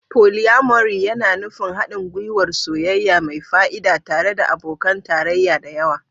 Polyamory yana nufin haɗin gwiwar soyayya mai fa'ida tare da abokan tarayya da yawa.